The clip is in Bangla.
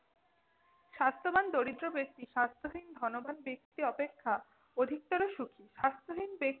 স্বাস্থ্যবান দারিদ্র ব্যক্তি স্বাস্থ্যহীন ধনবান ব্যক্তি অপেক্ষা অধিকতর সুখি। স্বাস্থ্যহীন ব্যক্তি